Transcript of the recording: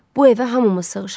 Bu evə hamımız sığışarıq.